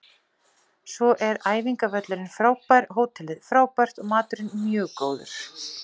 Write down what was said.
Svo er æfingavöllurinn frábær, hótelið frábært og maturinn mjög góður.